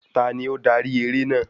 Tani ó darí eré àná?